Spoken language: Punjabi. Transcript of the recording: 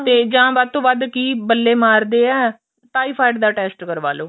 ਤੇ ਜਾਂ ਵੱਧ ਤੋਂ ਵੱਧ ਕੀ ਬੱਲੇ ਮਾਰਦੇ ਆ typhoid ਦਾ test ਕਰਵਾਲੋ